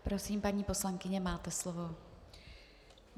Prosím, paní poslankyně, máte slovo.